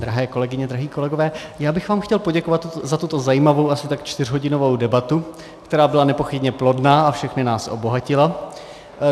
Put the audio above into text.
Drahé kolegyně, drazí kolegové, já bych vám chtěl poděkovat za tuto zajímavou, asi tak čtyřhodinovou debatu, která byla nepochybně plodná a všechny nás obohatila.